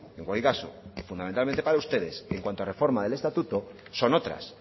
en cualquier caso y fundamentalmente para ustedes en cuanto a reforma del estatuto son otras